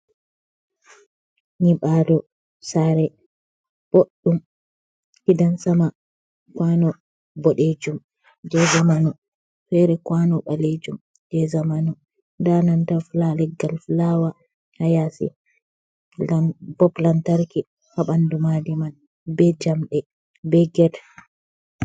nyiɓaalo saare boɗɗum, gidan sama, kuwano boɗeejum jey zamanu, feere kuwano ɓaleejum jey zamanu, ndaa nanta leggal fulawa haa yaasi, pob lantarki haa ɓanndu maadi man, be jamɗe be get.